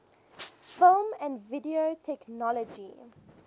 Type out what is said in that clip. film and video technology